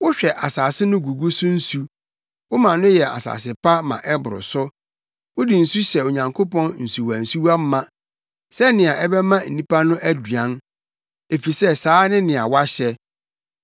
Wohwɛ asase no gugu so nsu; woma no yɛ asase pa ma ɛboro so. Wode nsu hyɛ Onyankopɔn nsuwansuwa ma sɛnea ɛbɛma nnipa no aduan, efisɛ saa ne nea woahyɛ.